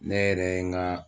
Ne yɛrɛ ye n ga